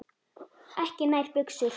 Ekki nær buxur.